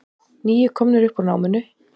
Níu komnir upp úr námunni